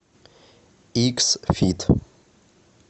икс фит